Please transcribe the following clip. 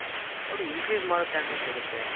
ಅವರು increase ಮಾಡೋ chances ಇರುತ್ತೆ.